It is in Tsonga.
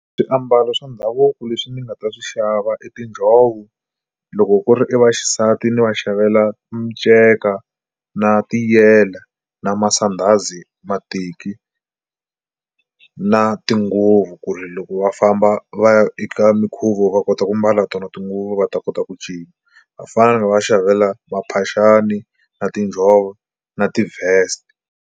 Swiambalo swa ndhavuko leswi ndzi nga ta swi xava i tinjhovo loko ku ri i vaxisati ni va xavela minceka na tiyela na masandhazi, mateki na tinguvu ku ri loko va famba va ya eka mikhuvo va kota ku mbala tona tinguva va ta kota ku cina. Vafana ni va xavela maphaxani na tinjhovo na ti-vest.